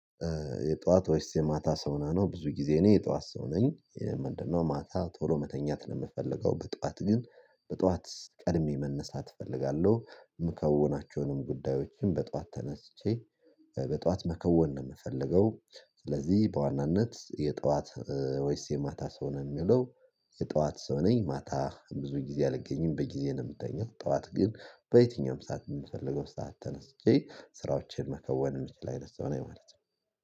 የጠዋት ወይስ የማታ ሰው ነህ ነው ብዙ ጊዜ እኔ የጠዋት ሰው ነኝ? ምንድነው ማታ ቶሎ መተኛት ነው የምፈልገው። በጠዋት ግን በጠዋት ቀድሜ መነሳት እፈልጋለሁ። የምከውናቸውንም ጉዳዮችን በጠዋት ተነስቼ በጠዋት መከወን ነው የምፈልገው። ስለዚህ በዋናነት የጠዋት ወይስ የማታ ሰው ነው የሚለው? የጠዋት ሰው ነኝ። ማታ ብዙ ጊዜ አልገኝም በጊዜ ነው የምተኛው። ጠዋት ግን በየትኛውም ሰዓት የምፈልገው ሰዓት ተነስቼ ስራዎቼን መከወን የምችል አይነት ሰው ነኝ። ማለት ነው